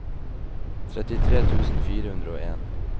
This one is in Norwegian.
trettitre tusen fire hundre og en